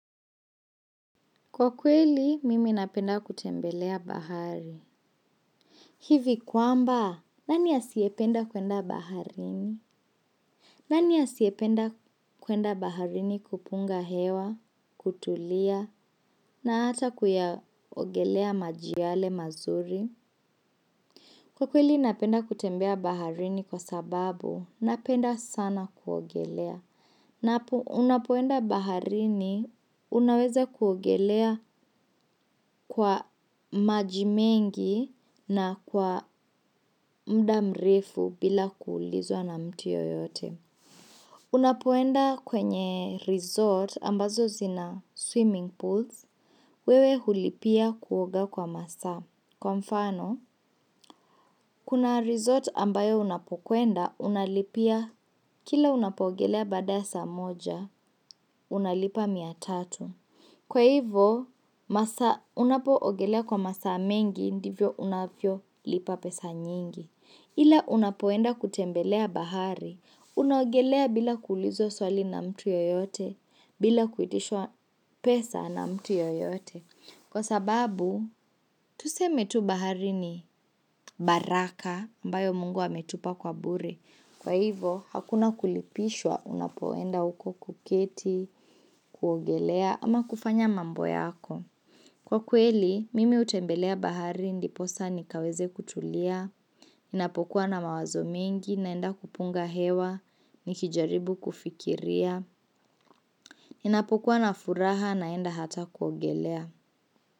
Kwa kweli, mimi napenda kutembelea bahari. Hivi kwamba, nani asiyependa kwenda baharini? Nani asiyependa kwenda baharini kupunga hewa, kutulia, na hata kuyaogelea maji yale mazuri? Kwa kweli, napenda kutembea baharini kwa sababu, napenda sana kuogelea. Na unapoenda baharini, unaweza kuogelea kwa maji mengi na kwa muda mrefu bila kuulizwa na mtu yeyote. Unapoenda kwenye resort ambazo zina swimming pools, wewe hulipia kuoga kwa masaa. Kwa mfano, kuna resort ambayo unapokwenda unalipia kila unapogelea baada ya saa moja unalipia tatu. Kwa hivyo masaa unapoogelea kwa masaa mengi ndivyo unavyo lipa pesa nyingi. Ila unapoenda kutembelea bahari, unaogelea bila kuulizwa swali na mtu yeyote, bila kuitishwa pesa na mtu yeyote. Kwa sababu, tuseme tu bahari ni baraka, ambayo mungu ametupa kwa bure. Kwa hivo, hakuna kulipishwa unapoenda huko kuketi, kuogelea ama kufanya mambo yako. Kwa kweli, mimi hutembelea bahari ndiposa nikaweze kutulia, ninapokuwa na mawazo mengi, naenda kupunga hewa, nikijaribu kufikiria, ninapokuwa na furaha, naenda hata kuogelea.